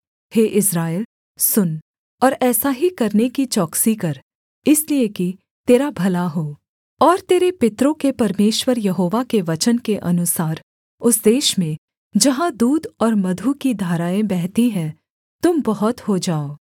हे Israel सुन और ऐसा ही करने की चौकसी कर इसलिए कि तेरा भला हो और तेरे पितरों के परमेश्वर यहोवा के वचन के अनुसार उस देश में जहाँ दूध और मधु की धाराएँ बहती हैं तुम बहुत हो जाओ